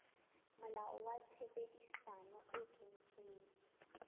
molao wa tshebedisano e kwetsweng